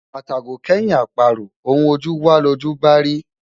Atàgò kẹ́yin àparò, ohun ojú wá lojú ń bá a rí.